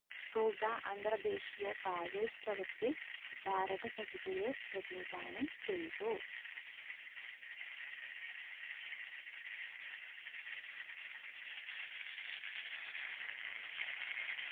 അന്തർ ദേശീയ ഉത്സവത്തിൽ ഭാരത സഹിതയെ പ്രതിനിധാനം ചെയ്തു